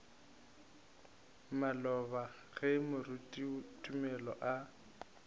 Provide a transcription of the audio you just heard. maloba ge moruti tumelo a